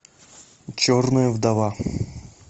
черная вдова